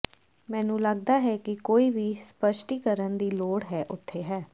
ਮੈਨੂੰ ਲੱਗਦਾ ਹੈ ਕਿ ਕੋਈ ਵੀ ਸਪਸ਼ਟੀਕਰਨ ਦੀ ਲੋੜ ਹੈ ਉੱਥੇ ਹੈ